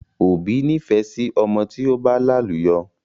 Òbí nifẹ sí ọmọ tí ó bá làlùyọ